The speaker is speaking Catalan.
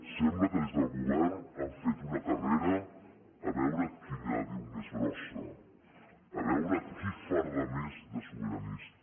sembla que des del govern han fet una carrera a veure qui la diu més grossa a veure qui farda més de sobiranista